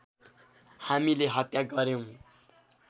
हामीले हत्या गर्‍यौँ